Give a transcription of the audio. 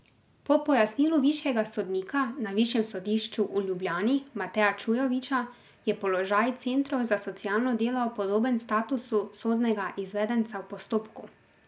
Po pojasnilu višjega sodnika na Višjem sodišču v Ljubljani Mateja Čujoviča je položaj centrov za socialno delo podoben statusu sodnega izvedenca v postopku.